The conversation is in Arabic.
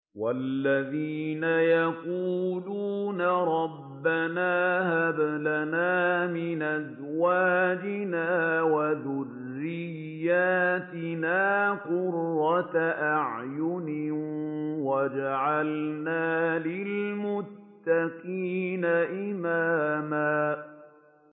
وَالَّذِينَ يَقُولُونَ رَبَّنَا هَبْ لَنَا مِنْ أَزْوَاجِنَا وَذُرِّيَّاتِنَا قُرَّةَ أَعْيُنٍ وَاجْعَلْنَا لِلْمُتَّقِينَ إِمَامًا